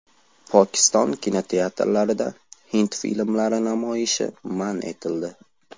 Pokiston kinoteatrlarida hind filmlari namoyishi man etildi.